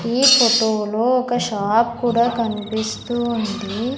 ఈ ఫోటోలో ఒక షాప్ కూడా కనిపిస్తూ ఉంది.